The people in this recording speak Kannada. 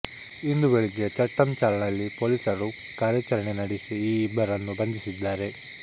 ಇಂದು ಬೆಳಿಗ್ಗೆ ಚಟ್ಟಂ ಚಾಲ್ನಲ್ಲಿ ಪೊಲೀಸರು ಕಾರ್ಯಾಚರಣೆ ನಡೆಸಿ ಈ ಇಬ್ಬರನ್ನು ಬಂಧಿಸಿದ್ದಾರೆ